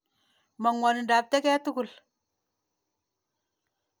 Ma ng'wonindap teket tukul.